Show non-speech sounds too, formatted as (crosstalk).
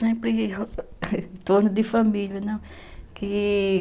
(unintelligible) em torno de família, né, e...